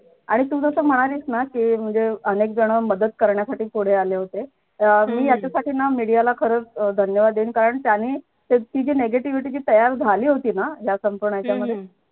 आणि तू जस म्हणालीस ना कि म्हणजे अनेक जण मदत करण्यासाठी पुढे आले होते अं मी याच्यासाठी ना media ला खरंच अं धन्यवाद देईल कारण त्यांनी ती जी negativity जी तयार झाली होती ना मधे